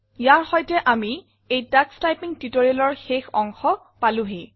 ইয়াৰ সৈতে আমি এই তোষ টাইপিং tutorialৰ শেষ অংশ পালোহি